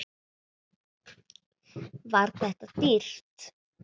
Var þetta dýrt?